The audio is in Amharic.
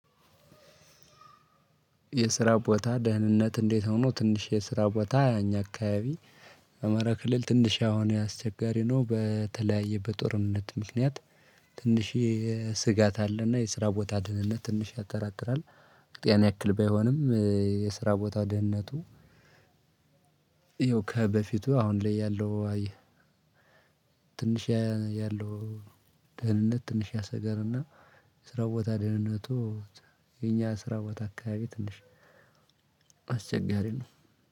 የስራ ቦታ ደህንነት እንዴት ነው? ትንሽ የስራ ቦታ አኛ አካባቢ በ አማራ ክልል ትንሽ አሁን አስቸጋሪ ነው። በተለያየ በጦርነት ምክንያት ትንሽ ስጋት አለና የስራ ቦታ ደህነት ትንሽ ያጠራጥራል። ያን ያክል ባይሆንም። የስራ ቦታ ደህንነቱ ይኸው ከበፊቱ አሁን ላይ ያለው አየህ። ትንሽ ያለው ደህንነት ትንሽ ያሰገልና። ስራ ቦታ ደህንነቱ የኛ ስራ ቦታ አካባቢ ትንሽ አስቸጋሪ ነው።